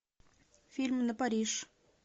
фильм на париж